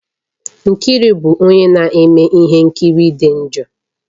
Nkiru bụ onye na-eme ihe nkiri dị njọ